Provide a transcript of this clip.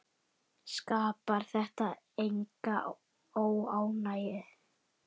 Skapar þetta enga óánægju?